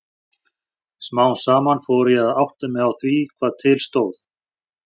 Smám saman fór ég að átta mig á því hvað til stóð.